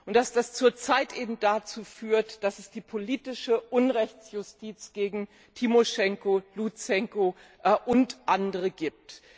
Und dass das zurzeit eben dazu führt, dass es die politische Unrechtsjustiz gegen Timoschenko, Lutschenko und andere gibt.